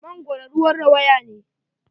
Mangoro ruwan rawaya ne.